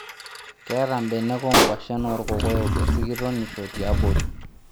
Keeta mbenek oo kwashen oo ilkokoyo esikitonisho tiabori